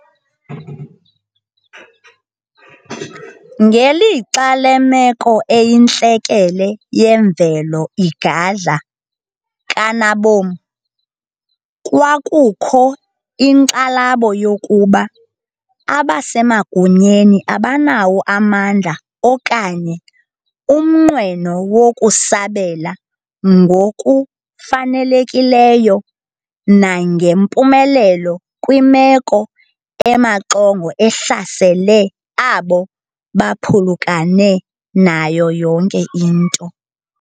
Ngelixa lemeko eyintlekele yemvelo igadla kanabom, kwakukho inkxalabo yokuba abasemagunyeni abanawo amandla okanye umnqweno wokusabela ngokufanelekileyo nangempumelelo kwimeko emaxongo ehlasele abo baphulukene nayo yonke into.